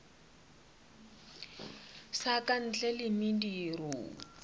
sa ka ntle le mediro